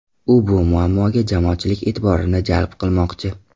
U bu muammoga jamoatchilik e’tiborini jalb qilmoqchi.